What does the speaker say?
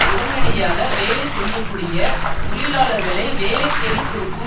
உடனடியாக வேலை செய்ய கூடிய தொழிலாளர்களை வேலை தேடிக்கொடுக்கும்